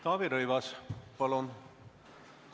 Taavi Rõivas, palun!